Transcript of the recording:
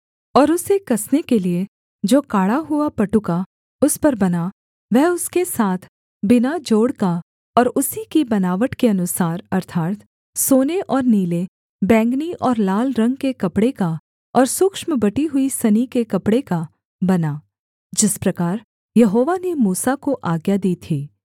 और उसे कसने के लिये जो काढ़ा हुआ पटुका उस पर बना वह उसके साथ बिना जोड़ का और उसी की बनावट के अनुसार अर्थात् सोने और नीले बैंगनी और लाल रंग के कपड़े का और सूक्ष्म बटी हुई सनी के कपड़े का बना जिस प्रकार यहोवा ने मूसा को आज्ञा दी थी